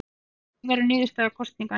Hver verður niðurstaða kosninganna?